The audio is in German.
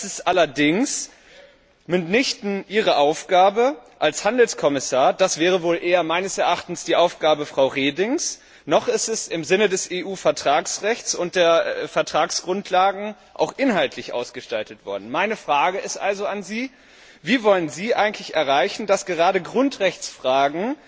Das ist allerdings mitnichten Ihre Aufgabe als Handelskommissar das wäre meines Erachtens wohl eher die Aufgabe von Frau Reding noch ist es im Sinne des EU Vertragsrechts und der Vertragsgrundlagen auch inhaltlich ausgestaltet worden. Meine Frage an Sie lautet also Wie wollen Sie eigentlich erreichen, dass gerade Grundrechtsfragen